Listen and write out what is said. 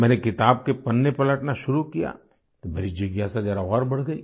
मैंने किताब के पन्ने पलटना शुरू किया तो मेरी जिज्ञासा जरा और बढ़ गई